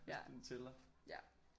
Hvis den tæller